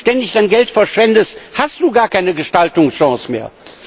Wenn du ständig dein Geld verschwendest, hast du gar keine Gestaltungschance mehr.